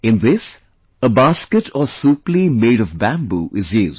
In this, a basket or supli made of bamboo is used